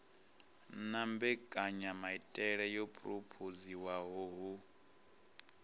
na mbekanyamaitele yo phurophoziwaho hu